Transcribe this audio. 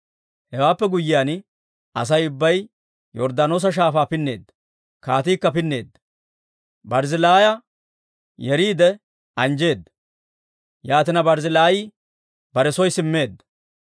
Hewaappe guyyiyaan, Asay ubbay Yorddaanoosa Shaafaa pinneedda; kaatiikka pinneedda. Barzzillaaya yeriide anjjeedda; yaatina, Barzzillaayi bare soo simmeedda.